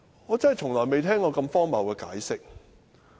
我從來未聽過如此荒謬的解釋。